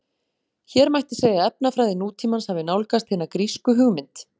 Hér mætti segja að efnafræði nútímans hafi nálgast hina grísku hugmynd.